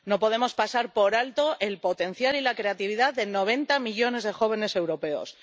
No podemos pasar por alto el potencial y la creatividad de noventa millones de jóvenes europeos.